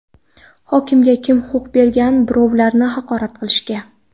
Hokimga kim huquq bergan birovlarni haqorat qilishga?